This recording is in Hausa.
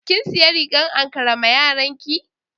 Kin siya rigar ankara ma yaranki?